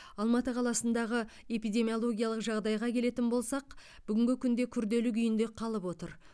алматы қаласындағы эпидемиологиялық жағдайға келетін болсақ бүгінгі күнде күрделі күйінде қалып отыр